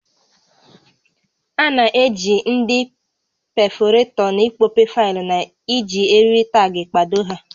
A na-eji ndị pefọretọ n'ịkpọpe faịlụ na iji eriri taagị kpado ha